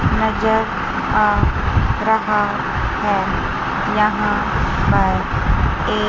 नजर आ रहा है यहां पर एक--